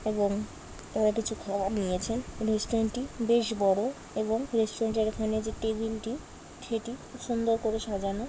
এবং এরা কিছু খাবার নিয়েছেন রেস্টুরেন্ট টি বেশ বড় এবং রেস্টুরেন্ট এর ওখানে যে টেবিল টি সেটি সুন্দর করে সাজানো।